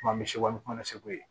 Kuma misi kɔnɔ segu ye